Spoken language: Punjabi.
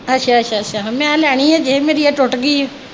ਅੱਛਾ ਅੱਛਾ ਅੱਛਾ ਮੈ ਲੈਣੀ ਹੀ ਹਜੇ ਮੇਰੀ ਆ ਟੁੱਟ ਗਈ ਊ।